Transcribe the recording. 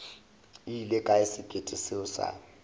ile kae sekete seo sa